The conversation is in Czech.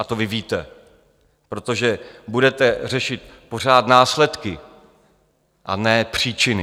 A to vy víte, protože budete řešit pořád následky, a ne příčiny.